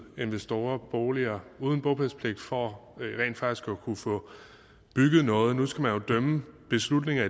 investorer boliger uden bopælspligt for rent faktisk at kunne få bygget noget nu skal man jo dømme beslutninger